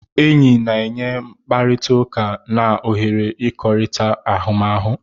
Enyi na-enye mkpakọrịta na ohere ịkọkorita ahụmahụ.